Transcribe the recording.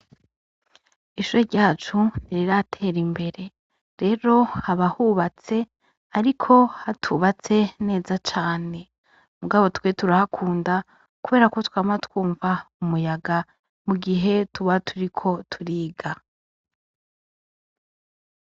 Ishuri ryacu ntiriratera imbere rero haba hubatse ariko hatubatse neza cane ariko twe turahakunda kubera twama twumva umuyaga mu gihe tuba turiko turiga.